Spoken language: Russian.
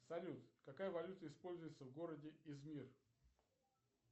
салют какая валюта используется в городе измир